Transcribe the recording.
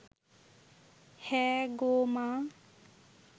হ্যাঁ গো মা